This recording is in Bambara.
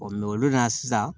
olu na sisan